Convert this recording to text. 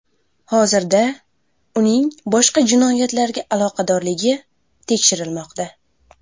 Hozirda uning boshqa jinoyatlarga aloqadorligi tekshirilmoqda.